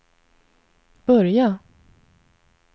börja